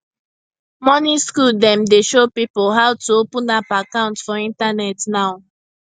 money school dem dey show pipo how to open app account for internet now